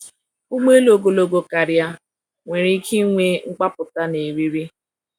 Ụgbọ elu ogologo karịa nwere ike ịnwe mgbapụta na eriri.